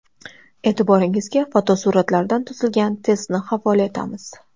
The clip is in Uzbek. E’tiboringizga fotosuratlardan tuzilgan testni havola etamiz.